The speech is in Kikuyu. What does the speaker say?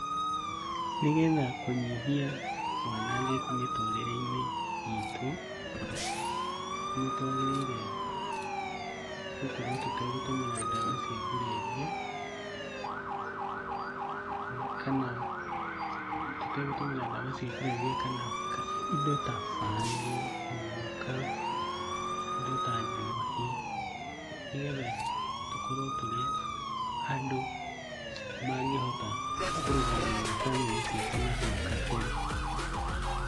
Nĩgetha kũnyihia wanangĩku mĩtũũrĩre-ĩnĩ itũ, nĩtwagĩrĩire gũkorwo tutegũtũmĩra dawa cia kũrevia, kana tũtegũtũmĩra dawa cia kũrevia kana ka indo ta bangi, mũgũka, indo ta njohi nĩgetha tũkorwo tũri andũ mangĩhota kũrũgamĩrĩra bamĩrĩ citu nahau kabere.